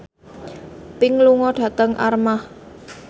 Pink lunga dhateng Armargh